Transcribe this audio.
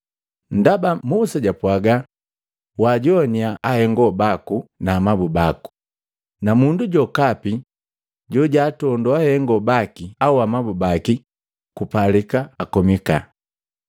Ndaba Musa japwaga, ‘Wajoannya ahengo baku na amabu bako,’ na ‘Mundu jokapi jojaatondo ahengo baki na amabu baki, kupalika ankoma.’